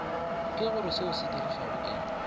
ke goreseo se sedirwago ke